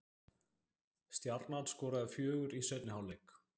Stjarnan skoraði fjögur í seinni hálfleik